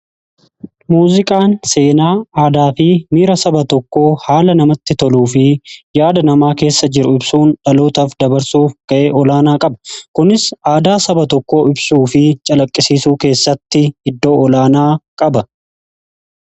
Muuziqaan seenaa, aadaa fi miira saba tokkoo haala namatti toluu fi yaada namaa keessa jiru ibsuun dhalootaaf dabarsuu ga'e olaanaa qaba, kunis aadaa saba tokkoo ibsuu fi calaqqisiisuu keessatti iddoo olaanaa qaba.